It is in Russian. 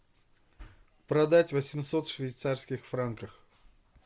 продать восемьсот швейцарских франков